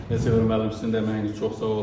Nizami müəllim sizin də əməyiniz çox sağ olun.